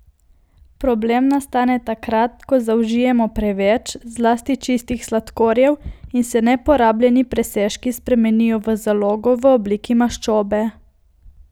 Problem nastane takrat, ko zaužijemo preveč, zlasti čistih sladkorjev in se neporabljeni presežki spremenijo v zalogo v obliki maščobe.